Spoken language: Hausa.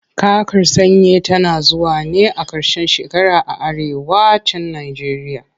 Kakar sanyi tana zuwa ne a ƙarshen shekara a arewa cin najeriya.